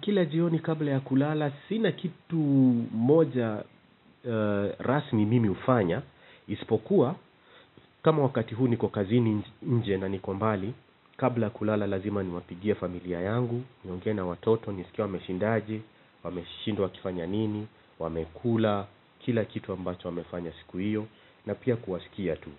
Kila jioni kabla ya kulala, sina kitu moja rasmi mimi hufanya, isipokuwa, kama wakati huu niko kazini nje na niko mbali, kabla ya kulala lazima niwapigie familia yangu, niongee na watoto, nisikie wameshindaji, wameshinda wakifanya nini, wamekula, kila kitu ambacho wamefanya siku hiyo, na pia kuwasikia tu,